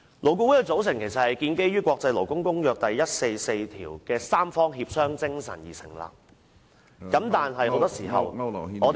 勞顧會是按照《國際勞工公約》第144號的三方協商精神而成立，但很多時候我們看到......